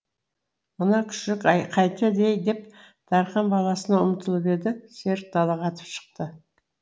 мына күшік қайтеді ей деп дархан баласына ұмтылып еді серік далаға атып шықты